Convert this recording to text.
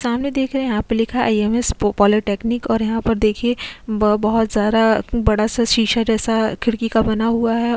सामने देख रहे है आई.एम.एस पो पालीटेक्निक और यहाँ पर देखिए बोहोत सारा बड़ा सा शीशा जैसा खिड़की का बना हुआ है।